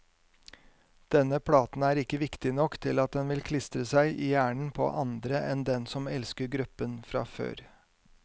Denne platen er ikke viktig nok til at den vil klistre seg i hjernen på andre enn dem som elsker gruppen fra før.